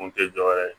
Kun tɛ dɔwɛrɛ ye